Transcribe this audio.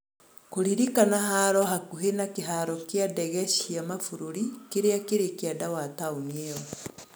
kurĩrĩkana haaro hakuhĩ na kĩharo gĩa ndege cĩa mabũrũri kĩrĩa kĩrĩ kĩanda wa taunĩ ĩyo